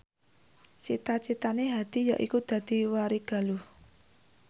cita citane Hadi yaiku dadi warigaluh